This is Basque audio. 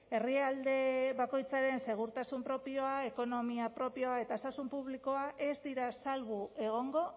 herrialde bakoitzaren segurtasun propioa ekonomia propioa eta osasun publikoa ez dira salbu egongo